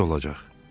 Necə olacaq?